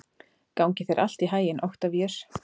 Gangi þér allt í haginn, Oktavíus.